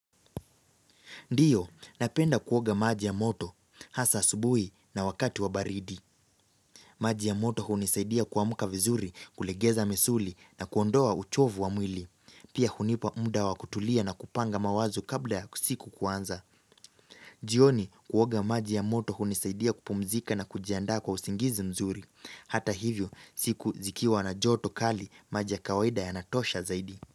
Ndiyo, napenda kuoga maji ya moto, hasa asubuhi na wakati wa baridi. Maji ya moto hunisaidia kuamka vizuri, kulegeza misuli na kuondoa uchovu wa mwili. Pia hunipa muda wa kutulia na kupanga mawazo kabla ya siku kuanza. Jioni, kuoga maji ya moto hunisaidia kupumzika na kujiandaa kwa usingizi mzuri. Hata hivyo, siku zikiwa na joto kali maji ya kawaida yanatosha zaidi.